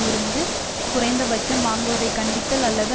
இருந்தது குறைந்த பட்சம் வாங்குவதைக் கண்டித்தல் அல்லது